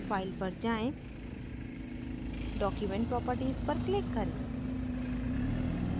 file पर जाएँ document properties पर click करें